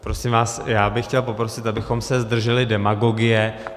Prosím vás, já bych chtěl poprosit, abychom se zdrželi demagogie.